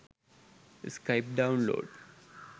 skype download